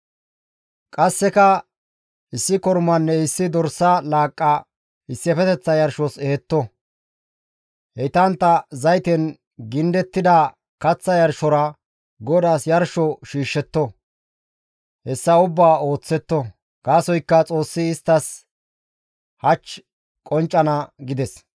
Qasseka issi kormanne issi dorsa laaqqa issifeteththa yarshos ehetto; heytantta zayten gindettida kaththa yarshora GODAAS yarsho shiishshetto; hessa ubbaa ooththetto; gaasoykka Xoossi isttas hach qonccana» gides.